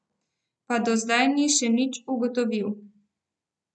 Pa do zdaj ni še nič ugotovil.